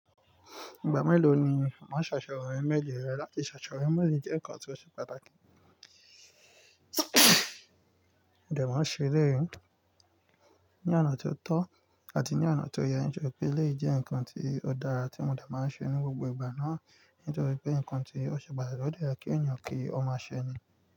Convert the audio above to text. Ìgbà mélòó ni wọ́n ṣàṣọ ọmọ ẹgbẹ́ rẹ láti ṣàṣọ ọmọ lè jẹ́ ǹkan tó ṣe pàtàkì. Mo de maa n ṣe eleyii ní ọ̀nà tó tọ́ àti ní ọ̀nà tó yẹ ń je pé eleyii je ǹkan tí ó dára tí ọmọ dà máa ń ṣe ní gbogbo ìgbà náà nítorí pé ǹkan tí o ṣe pàtàkì, o de ye kín èyàn kí ó máa ṣẹ ni.